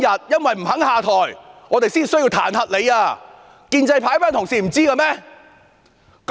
因為她不肯下台，我們才要彈劾她，建制派的同事不知道嗎？